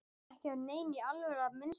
Ekki af neinni alvöru að minnsta kosti.